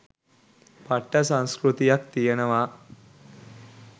පට්ට සංස්කෘතියක් තියෙනවා.